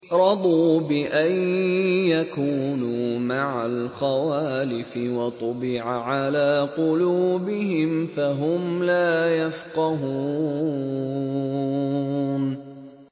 رَضُوا بِأَن يَكُونُوا مَعَ الْخَوَالِفِ وَطُبِعَ عَلَىٰ قُلُوبِهِمْ فَهُمْ لَا يَفْقَهُونَ